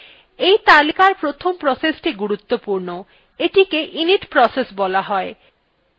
এই তালিকার প্রথম processthe গুরুত্বপূর্ণ এইটিকে init process বলা হয়